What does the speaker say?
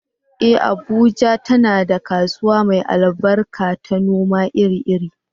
Eh, Abuja tana da kasuwa mai albarka ta noma iri-iri.